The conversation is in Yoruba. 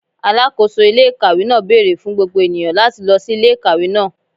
Alakoso ile-ikawe naa beere fun gbogbo eniyan lati lọ si ile-ikawe naa